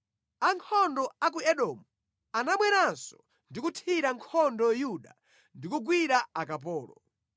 Ankhondo a ku Edomu anabweranso ndi kuthira nkhondo Yuda ndi kugwira akapolo.